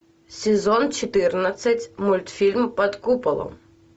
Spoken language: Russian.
сезон четырнадцать мультфильм под куполом